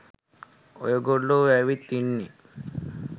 ඔයගොල්ලො ඇවිත් ඉන්නේ.